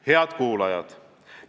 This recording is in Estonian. Head kuulajad!